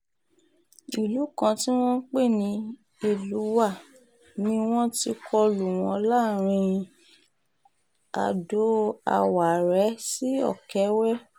ìlú kan tí wọ́n pè ní elúwá ni wọ́n ti kọlu wọn láàrin ado-àwárẹ́ sí ọ̀kẹ́wẹ́